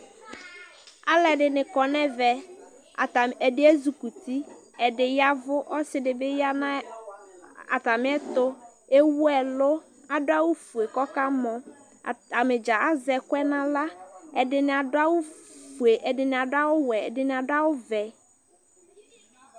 alʊɛdɩnɩ kɔ nʊ ɛmɛ, ɛdɩ ezikuti, ɛdɩ y'ɛvʊ, ɔsidɩ bɩ ya nʊ atamiɛtʊ, ewu ɛlʊ, adʊ awufue kʊ ɔkamɔ, atanidza azɛ ɛkʊɛdi n'aɣla, ɛdɩnɩ adʊ awufue ɛdɩnɩ adʊ awu wɛ, ɛdɩnɩ ɔvɛ